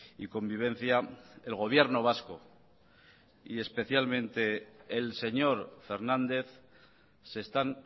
y convivencia el gobierno vasco y especialmente el señor fernández se están